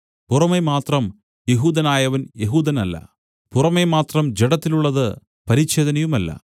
പുറമെ മാത്രം യെഹൂദനായവൻ യെഹൂദനല്ല പുറമെ മാത്രം ജഡത്തിലുള്ളത് പരിച്ഛേദനയുമല്ല